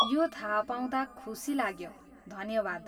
यो थाहा पाउँदा खुसी लाग्यो, धन्यवाद।